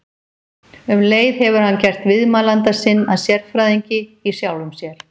Um leið hefur hann gert viðmælanda sinn að sérfræðingi- í sjálfum sér.